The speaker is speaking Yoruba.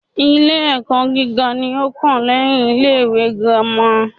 Ilé ẹ́kọ́ gíga ní o kàn lẹ́yin ilé ìwé gírámà.